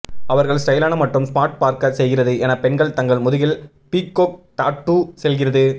அவர்கள் ஸ்டைலான மற்றும் ஸ்மார்ட் பார்க்க செய்கிறது என பெண்கள் தங்கள் முதுகில் பீக்கோக் டாட்டூ செல்கிறது